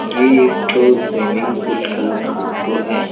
ये एक ठो स्विमिंग पूल का फोटो हैं।